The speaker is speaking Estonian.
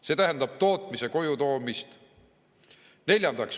See tähendab tootmise koju toomist.